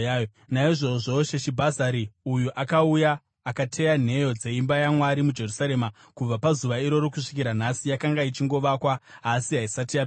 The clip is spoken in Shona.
Naizvozvo Sheshibhazari uyu akauya akateya nheyo dzeimba yaMwari muJerusarema. Kubva pazuva iroro kusvikira nhasi yanga ichingovakwa, asi haisati yapera.”